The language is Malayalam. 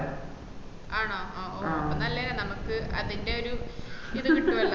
ആണോ ഓ അപ്പൊ നല്ലേ നമ്മക്ക് അതിന്റെ ഒര് ഇത് കിട്ടുവല്ലോ